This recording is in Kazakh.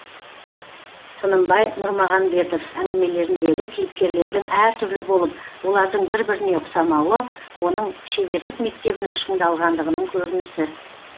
тынымбай нұрмағанбетов әңгімелеріндегі кейіпкерлердің әр түрлі болып олардың бір біріне ұқсамауы оның шеберлік мектебінің шыңдалғандығының көрінісі